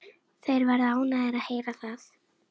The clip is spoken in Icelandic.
Þeir verða ánægðir að heyra það.